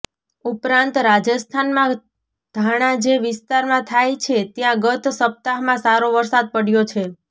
ઉપરાંત રાજસ્થાનમાં ધાણા જે વિસ્તારમાં થાય છે ત્યાં ગત સપ્તાહમાં સારો વરસાદ પડ્યો છે